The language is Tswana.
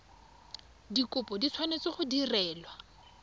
dikopo di tshwanetse go direlwa